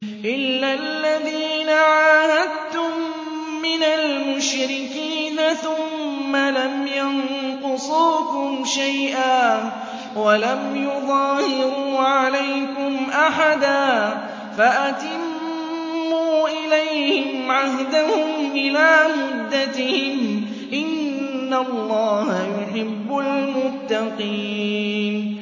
إِلَّا الَّذِينَ عَاهَدتُّم مِّنَ الْمُشْرِكِينَ ثُمَّ لَمْ يَنقُصُوكُمْ شَيْئًا وَلَمْ يُظَاهِرُوا عَلَيْكُمْ أَحَدًا فَأَتِمُّوا إِلَيْهِمْ عَهْدَهُمْ إِلَىٰ مُدَّتِهِمْ ۚ إِنَّ اللَّهَ يُحِبُّ الْمُتَّقِينَ